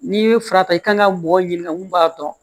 N'i ye fara ta i kan ka mɔgɔ ɲininka mun b'a dɔn